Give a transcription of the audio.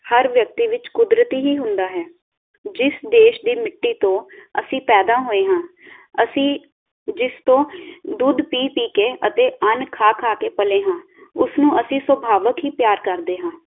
ਹਰ ਵਿਅਕਤੀ ਵਿਚ ਕੁਦਰਤੀ ਹੀ ਹੁੰਦਾ ਹੈ ਜਿਸ ਦੇਸ਼ ਦੀ ਮਿੱਟੀ ਤੋਂ ਅਸੀਂ ਪੈਦਾ ਹੋਏ ਹਾਂ ਅਸੀਂ ਜਿਸ ਤੋਂ ਦੁੱਧ ਪੀ-ਪੀ ਕੇ ਅਤੇ ਅੰਨ ਖਾ-ਖਾ ਕੇ ਪਲੇ ਹਾਂ ਉਸਨੂੰ ਅਸੀਂ ਸ੍ਵਾਭਾਵਿਕ ਹੀ ਪਿਆਰ ਕਰਦੇ ਹਾਂ।